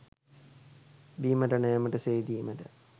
බීමට නෑමට, සේදීමට